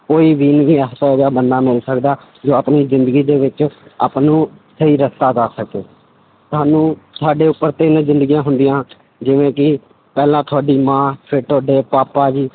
ਕੋਈ ਵੀ ਨਹੀਂ ਬੰਦਾ ਮਿਲ ਸਕਦਾ ਜੋ ਆਪਣੀ ਜ਼ਿੰਦਗੀ ਦੇ ਵਿੱਚ ਆਪਾਂ ਨੂੰ ਸਹੀ ਰਸਤਾ ਦੱਸ ਸਕੇ ਸਾਨੂੰ ਸਾਡੇ ਉੱਪਰ ਤਿੰਨ ਜ਼ਿੰਦਗੀਆਂ ਹੁੰਦੀਆਂਂ ਜਿਵੇਂ ਪਹਿਲਾ ਤੁਹਾਡੀ ਮਾਂ ਫਿਰ ਤੁਹਾਡੇ ਪਾਪਾ ਜੀ,